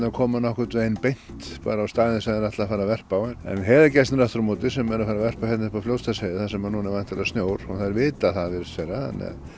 komu nokkurnveginn beint bara á staðinn þar sem þær ætla að fara að verpa á en heiðagæsirnar aftur á móti sem er að fara verpa hérna uppi á Fljótsdalsheiði þar sem núna er væntanlega snjór og þær vita það virðist vera